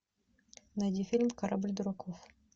найди фильм корабль дураков